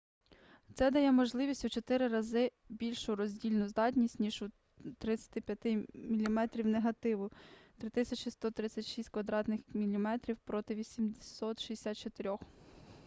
це дає майже у чотири рази більшу роздільну здатність ніж у 35 мм негативу 3136 квадратних міліметрів проти 864